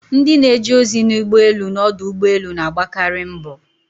Ndị na-eje ozi na ụgbọelu na ọdụ ụgbọelu na-agbakari mbo.